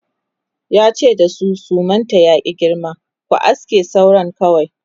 yace da su sumanta ya ki girma"ku aske sauran kawai!"